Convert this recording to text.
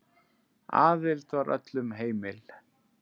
Aðild var öllum heimil.